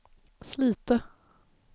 Slite